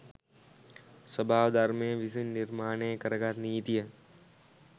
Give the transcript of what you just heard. ස්වභාව ධර්මය විසින් නිර්මාණය කරගත් නීතිය